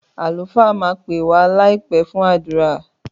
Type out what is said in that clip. Àlùfáà máa pè wàá láìpé fún àdúrà